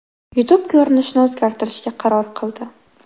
YouTube ko‘rinishini o‘zgartirishga qaror qildi.